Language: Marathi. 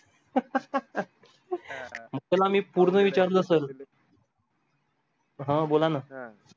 त्याला मी पूर्ण विचारलं sir हा बोला अं